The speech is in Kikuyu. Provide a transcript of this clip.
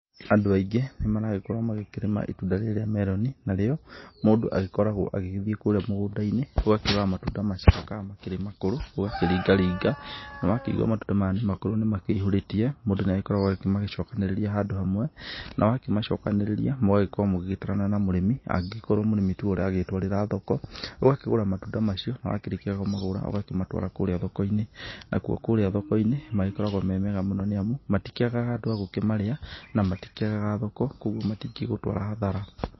Andũ aingĩ nĩ maragĩkorwo magĩkĩrĩma itunda rĩrĩ rĩa melon na rĩo mũndũ agĩkoragwo agĩgĩthiĩ kũrĩa mũgũnda-inĩ, ũgakĩrora matunda macio kana makĩrĩ makũrũ ũgakĩringaringa na wakĩigua matunda maya nĩ makũrũ nĩ makĩihũrĩtie, mũndũ nĩ agĩkoragwo agĩkĩmacokanĩrĩria handũ hamwe, na wakĩmacokanĩrĩria , mũgagĩkorwo mũgĩgĩtarana na mũrĩmi angĩkorwo mũrĩmi tiwe aragĩtwarĩra thoko, ũgakĩgũra matunda macio na wakĩrĩkia kũmagura ũgakĩmatwara kũũrĩa thoko-inĩ. Na kuo kũrĩa thoko-inĩ magĩkoragwo me mega mũno nĩ amu, matikĩagaga andũ agũkĩmarĩa na matikĩagaga thoko kũguo matingĩgũtwara hathara.